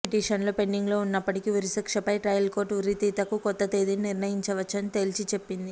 పిటిషన్లు పెండింగ్లో ఉన్నప్పటికీ ఉరిశిక్షపై ట్రయల్ కోర్టు ఉరితీతకు కొత్త తేదీని నిర్ణయించవచ్చని తేల్చిచెప్పింది